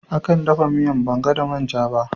Akan dafa miyan Banga da man'ja.